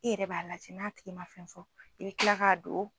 I yɛrɛ b'a lajɛ n'a tigi man fɛn fɔ i bɛ kila k'a don.